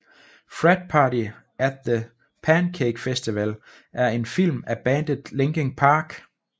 Frat Party At The Pankake Festival er en film af bandet Linkin Park